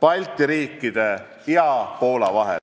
Balti riikide ja Poola vahel.